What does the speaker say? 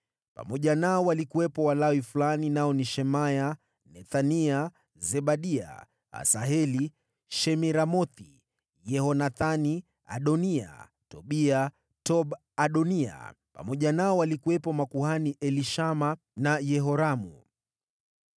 Pamoja nao walikuwepo Walawi fulani nao ni: Shemaya, Nethania, Zebadia, Asaheli, Shemiramothi, Yehonathani, Adoniya, Tobia, Tob-Adonia, pamoja nao walikuwepo makuhani Elishama na Yehoramu.